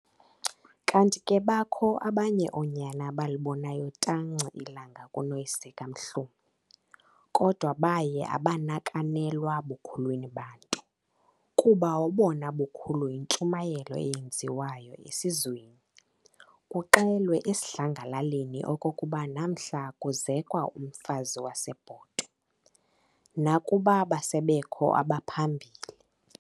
Kanti ke bakho abanye oonyana abalibonayo tanci ilanga kunoyise kaMhlomi, kodwa baye abanakanelwa bukhulwini banto, kuba obona bukhulu yintshumayelo eyenziwayo esizweni, kuxelwe esidlangalaleni okokuba namhla kuzekwa umfazi waseBhotwe, nakuba base bekho abaphambili.